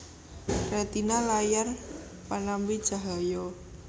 Retina layar panampi cahya